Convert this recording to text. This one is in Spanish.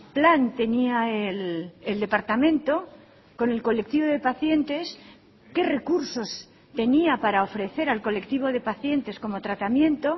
plan tenía el departamento con el colectivo de pacientes qué recursos tenía para ofrecer al colectivo de pacientes como tratamiento